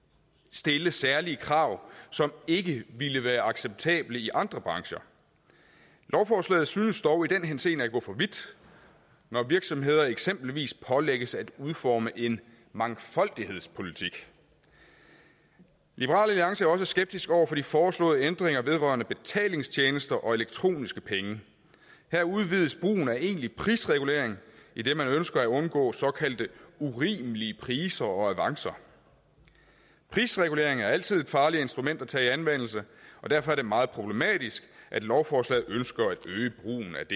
stille særlige krav som ikke ville være acceptable i andre brancher lovforslaget synes dog i den henseende at gå for vidt når virksomheder eksempelvis pålægges at udforme en mangfoldighedspolitik liberal alliance er også skeptiske over for de foreslåede ændringer vedrørende betalingstjenester og elektroniske penge her udvides brugen af egentlig prisregulering idet man ønsker at undgå såkaldte urimelige priser og avancer prisregulering er altid et farligt instrument at tage i anvendelse og derfor er det meget problematisk at lovforslaget ønsker at det